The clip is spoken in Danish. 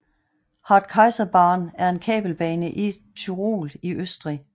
Hartkaiserbahn er en kabelbane i Tyrol i Østrig